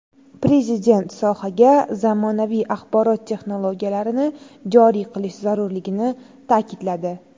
Prezident sohaga zamonaviy axborot texnologiyalarini joriy qilish zarurligini ta’kidladi.